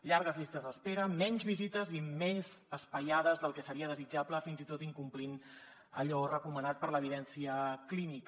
llargues llistes d’espera menys visites i més espaiades del que seria desitjable fins i tot incomplint allò recomanat per l’evidència clínica